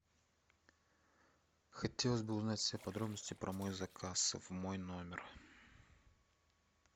хотелось бы узнать все подробности про мой заказ в мой номер